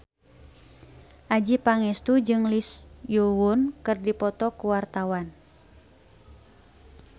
Adjie Pangestu jeung Lee Yo Won keur dipoto ku wartawan